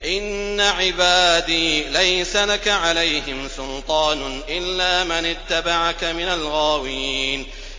إِنَّ عِبَادِي لَيْسَ لَكَ عَلَيْهِمْ سُلْطَانٌ إِلَّا مَنِ اتَّبَعَكَ مِنَ الْغَاوِينَ